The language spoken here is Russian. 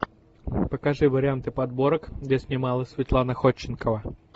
покажи варианты подборок где снималась светлана ходченкова